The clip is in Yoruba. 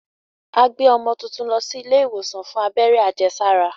A gbé ọmọ tuntun lọ sí ilé ìwòsàn fún abẹ́rẹ́ àjẹsára.